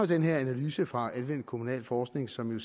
den her analyse fra anvendt kommunalforskning som jo